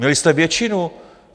Měli jste většinu.